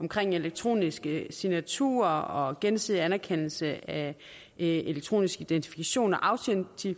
omkring elektroniske signaturer og gensidig anerkendelse af elektronisk identifikation og